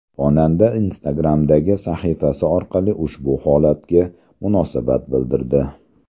Xonanda Instagram’dagi sahifasi orqali ushbu holatga munosabat bildirdi.